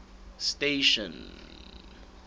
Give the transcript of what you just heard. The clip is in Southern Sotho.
station